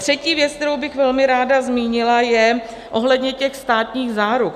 Třetí věc, kterou bych velmi ráda zmínila, je ohledně těch státních záruk.